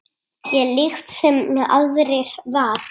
Ég líkt sem aðrir var.